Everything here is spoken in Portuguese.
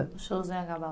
Os shows do Anhangabaú.